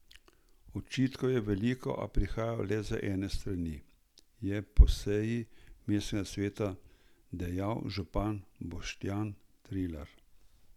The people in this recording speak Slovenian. Očitkov je veliko, a prihajajo le z ene strani, je po seji mestnega sveta dejal župan Boštjan Trilar.